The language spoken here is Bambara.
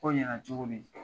Ko in cogo min.